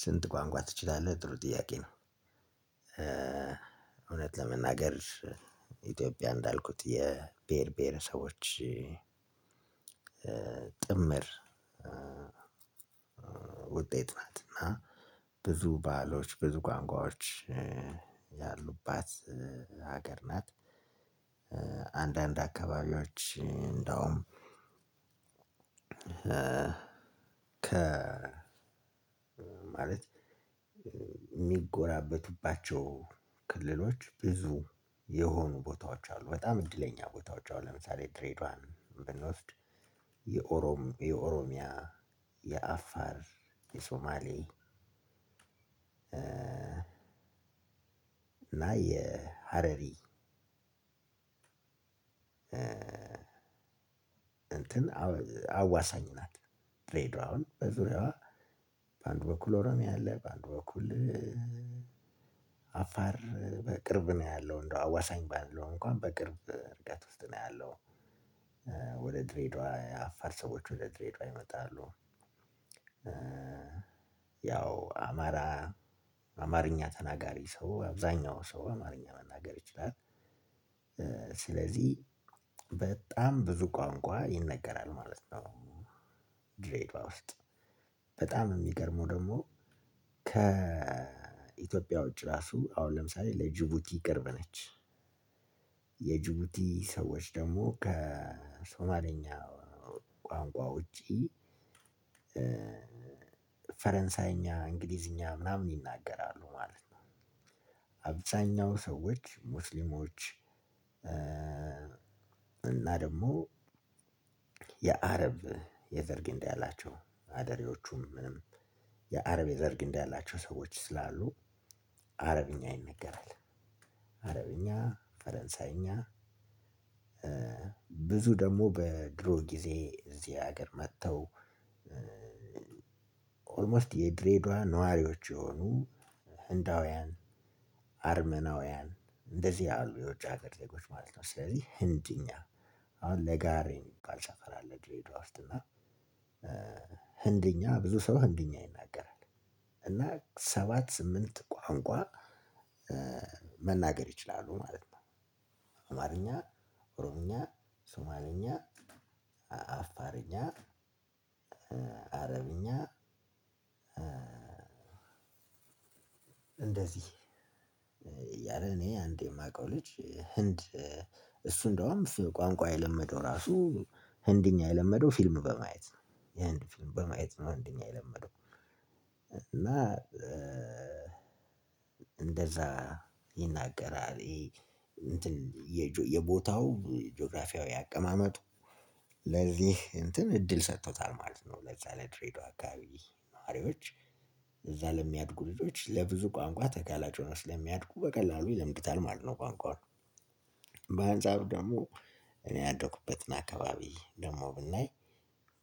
ስንት ቋንቋ ትችላለህ? ጥሩ ጥያቄ ነው። እውነት ለመናገር ኢትዮጵያ እንዳልኩት የብሄር ብሄረሰቦች ጥምር ውጤት ናት። እና ብዙ ባአሎች ብዙ ቋንቋወች ያሉባት ሀገር ናት። አንዳንድ አካባቢዎች እንደውም ከ ማለት እሚጎራበቱባቸው ክልሎች በዙ የሆኑ ቦታወች አሉ በጣም እድለኛ ቦታወች አሁን ለምሳሌ ድሬደዋ ብንወስድ። የኦሮሚያ የአፋር የሱማሌ እና የሀረሪ እንትን አዋሳኝ ናት። ድሬድዋ አሁን በዙሪያዋ በአንድ በኩል ኦሮሚያ አለ ባንድ በኩል አፋር በቅርብ ነውያለው አዋሳኝ ባልለው እንኩአን በቅርብ ነው ያለው። ወደ ድሬዳዋ የአፋር ሰዎች ወደ ድሬዳዋ ይመጣሉ። ያው አማራ አማርኛ ተናጋሪ ሰው አብዛኛው ሰው አማርኛ መናገር ይችላል። ስለዚህ በጣም ብዙ ቋንቋ ይነገራል ማለት ነው። ድሬድዋ ውስጥ በጣም እሚገርመው ደግሞ ከኢትዮጵያ ውጪ ራሱ አሁን ለምሳሌ ለጅቡቲ ቅርብ ነች። የጅቡቲ ሰዎች ደግሞ ከሶማሌኛ ቋንቋ ውጪ ፈረንሳይኛ እንግሊዝኛ ምናምን ይናገራሉ ማለት ነው። አብዛኛው ሰዎች ሙስሊሞች። እና ደግሞ የአረብ የዘር ግንድ ያላቸው አደሪዎቹም ምንም የአረብ የዘር ግንድ ያላቸው ሰዎች ስላሉ አረብኛ ይነገራል። አረብኛ ፈረንሳይኛ ብዙ ደግሞ በድሮ ጊዜ እዚህ ሀገር መጥተው። ኦልሞስት የድሬዳዋ ነዋሪዎች የሆኑ ህንዳውያን አርመናውያን እንደዚህ ያሉ የውጭ ሀገር ዜጎች ማለት ነው። ስለዚህ ህንድኛ አሁን ለጋሀር የሚባል ሰፈር አለ ድሬደዋ ውስጥ እና ህንድኛ ብዙ ሰው ህንድኛ ይናገራል። እና ሰባት ስምንት ቋንቋ መናገር ይችላሉ ማለት ነው። አማርኛ ኦሮምኛ ሱማልኛ አፋርኛ አረብኛ እንደዚህ እያለ እኔ አንድ እማውቀው ልጅ ህንድ እሱ እንደውም ቋንቋ የለመደው ራሱ ህንድኛ የለመደው ፊልም በማየት ነው የህንድ ፊልም በማየት ነው ህንድኛ የለመደው። እና እንደዛ ይናገራል። የቦታው ጆግራፊአዊ አቀማመጡ ለዚህ እንትን እድል ተሰጥቶታል ማለት ነው። ለዛ የድሬድዋ አካባቢ ልጅ ለነዋሪዎች እዛ ለሚያድጉ ልጃች ለብዙ ቋንቋ ተጋላጭ ስለሚሆኑ ቋንቋውን ይለምዱታል ማለት ነው። ባጭሩ በአንጻሩ ደግሞ እኔ ያደኩበትን አካባቢ ደግሞ ብናይ